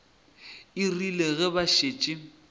e rile ge ba šetše